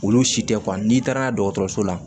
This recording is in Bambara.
Olu si tɛ n'i taara n'a dɔgɔtɔrɔso la